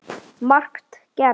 Margt gerst.